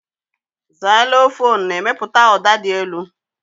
Xylofon na-emepụta ụda dị elu.